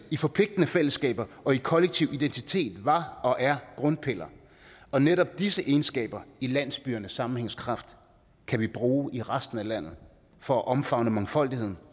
i forpligtende fællesskaber og i kollektiv identitet var og er grundpiller og netop disse egenskaber i landsbyernes sammenhængskraft kan vi bruge i resten af landet for at omfavne mangfoldigheden